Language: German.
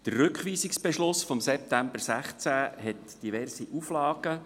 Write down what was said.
Der Rückweisungsbeschluss von September 2016 enthielt diverse Auflagen.